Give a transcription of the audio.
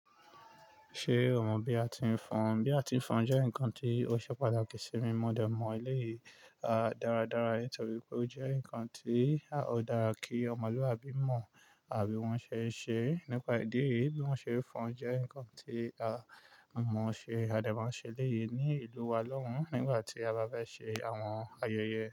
Ṣé o mọ̀ bí a ti ń fọn? Bí a ti ń fọn jẹ́ ǹkan tí ó ṣe pàtàkì sí mí mo dẹ mọ eleyi. A dáradára, nítorí pé ó jẹ́ ǹkan tí a ó dára kí ọmọlúàbí mọ̀ bí wọ́n ṣe ń ṣe é nípa ìdí èyí bí wọ́n ṣe fọn jẹ́ ǹkan tí a mọmo ṣe, a de ma n ṣe eléyi ní ìlú wa lọ́hùn nígbà tí a bá fe ṣe àwọn ayẹyẹ.